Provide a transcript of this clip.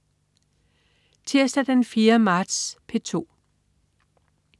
Tirsdag den 4. marts - P2: